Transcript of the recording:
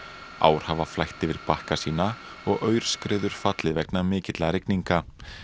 ár hafa flætt yfir bakka sína og aurskriður fallið vegna mikilla rigninga